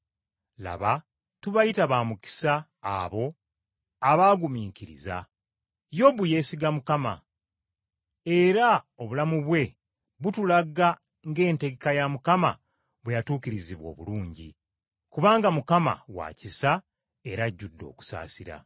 Laba tubayita ba mukisa abo abaagumiikiriza. Yobu yeesiga Mukama, era obulamu bwe butulaga ng’entegeka ya Mukama bwe yatuukirizibwa obulungi; kubanga Mukama wa kisa era ajjudde okusaasira.